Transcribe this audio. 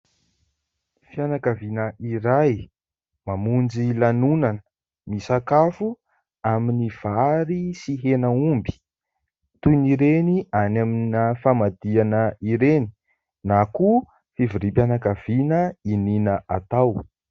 Fianakaviana iray mamonjy lanonana, misakafo amin'ny vary sy henan'omby toy ny ireny any amina famadihana ireny na koa fivoriam-pianakaviana iniana atao.